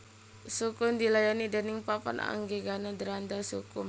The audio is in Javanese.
Sukhum dilayani déning Papan Anggegana Dranda Sukhum